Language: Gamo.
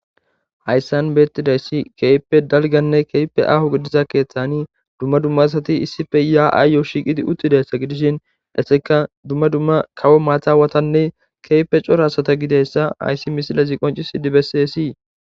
hayssan beettidayssi keype dalganne keype aho gidiza keeththani dumma dummasati issife yaa7aayyo shiiqidi uttidayssa gidishin dhesseka dumma dumma kawo maatha watanne keype cora asata gideyssa ayssi misilazi qoncis i dibessii